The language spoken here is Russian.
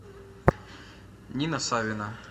нина савина